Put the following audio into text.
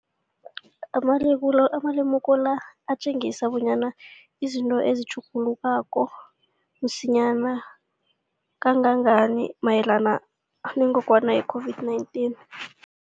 Amalemuko la atjengisa bonyana izinto zingatjhuguluka msinyana kangangani mayelana nengogwana i-COVID-19.